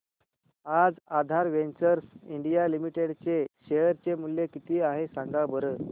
आज Aadhaar ventures India limited चे share चे मूल्य किती आहे सांगा बरं